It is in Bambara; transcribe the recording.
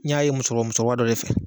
N y'a ye musokɔrɔ musokɔrɔba dɔ de fɛ